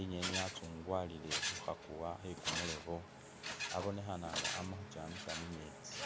,inyeni ya’tsugwalile khukha kuwa khe kumurobo abonekhana nga amakhukyamisa mumetsi.